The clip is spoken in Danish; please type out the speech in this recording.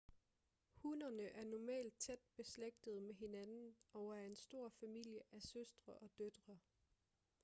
hunnerne er normalt tæt beslægtede med hinanden og er en stor familie af søstre og døtre